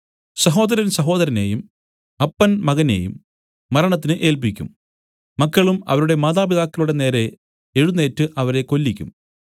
സഹോദരൻ സഹോദരനെയും അപ്പൻ മകനെയും മരണത്തിന് ഏല്പിക്കും മക്കളും അവരുടെ മാതാപിതാക്കളുടെ നേരെ എഴുന്നേറ്റ് അവരെ കൊല്ലിക്കും